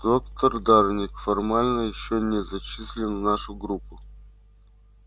доктор дорник формально ещё не зачислен в нашу группу